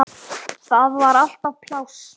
Þar var alltaf pláss.